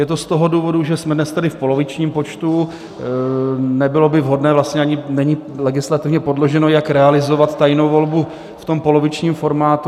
Je to z toho důvodu, že jsme dnes tedy v polovičním počtu, nebylo by vhodné, vlastně ani není legislativně podložené, jak realizovat tajnou volbu v tom polovičním formátu.